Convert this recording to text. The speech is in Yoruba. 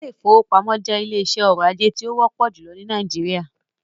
Ilé ìfọwọ́pamo jẹ́ ilé iṣé ọrọ̀ ajé tí o wọ́pọ̀ júlọ ní Nàìjíríà.